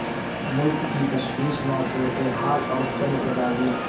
ملک کی تشویش ناک صورت حال اور چند تجاویز